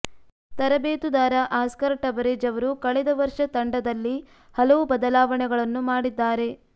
ತರಬೇತುದಾರ Oscar Tabarez ಅವರು ಕಳೆದ ವರ್ಷ ತಂಡದಲ್ಲಿ ಹಲವು ಬದಲಾವಣೆಗಳನ್ನು ಮಾಡಿದ್ದಾರೆ